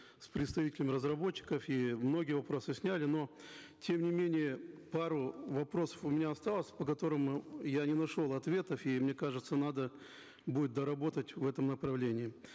с представителями разработчиков и многие вопросы сняли но тем не менее пару вопросов у меня осталось по которым мы я не нашел ответов и мне кажется надо будет доработать в этом направлении